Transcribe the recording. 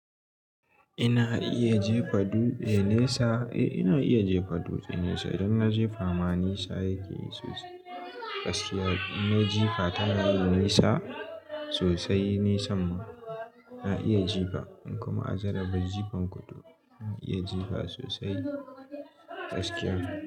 Ina iya jefa dutse nesa. Eh, ina iya jefa dutse nesa. Idan na jefa ma nesa yake yi sosai. Gaskiya ina jefa tana yin nesa sosai, nisam ma ina iya jefa. In kuma a jaraba jifan kutu, zan iya jefa sosai gaskiya.